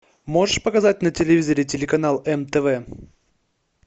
можешь показать на телевизоре телеканал мтв